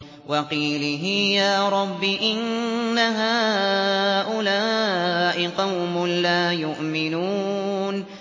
وَقِيلِهِ يَا رَبِّ إِنَّ هَٰؤُلَاءِ قَوْمٌ لَّا يُؤْمِنُونَ